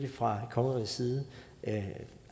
vi fra kongerigets side